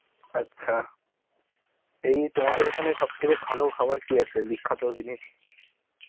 আচ্ছা. এই তোমাদের ওখানে সব থেকে ভালো খাবার কি আছে? বিখ্যাত জিনিস.